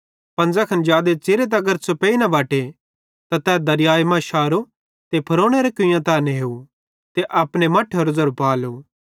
पन ज़ैखन जादे च़िरे तगर छ़ुपेई न बटे तै दरियाए मां शारो त फ़िरौनेरे कुइयां तै नेव ते अपने मट्ठेरो ज़ेरो पालो